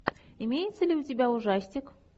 имеется ли у тебя ужастик